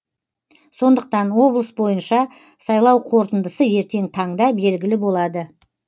сондықтан облыс бойынша сайлау қорытындысы ертең таңда белгілі болады